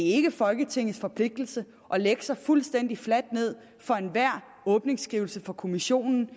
ikke folketingets forpligtelse at lægge sig fuldstændig fladt ned for enhver åbningsskrivelse fra kommissionen